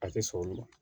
A tɛ sɔn olu ma